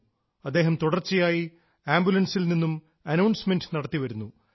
അദ്ദേഹം തുടർച്ചയായി ആംബുലൻസിൽ നിന്നും അനൌൺസ്മെൻറും നടത്തിവരുന്നു